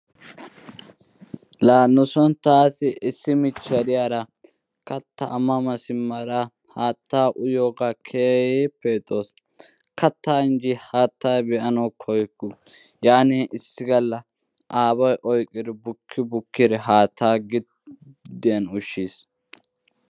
laa nuson taassi issi michiya diyara kataa a mama simada haattaa uyyiyoogaa keehippe ixxawusu. kataa injji haattaa be'anawu koyukku. yaani o issi gala aaway oykkidi bukkii bukkidi haattaa gidiyan ushiis.